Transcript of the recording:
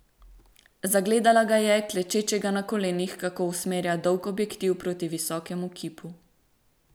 Zagledala ga je, klečečega na kolenih, kako usmerja dolg objektiv proti visokemu kipu.